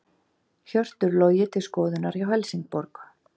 Hjörtur Logi til skoðunar hjá Helsingborg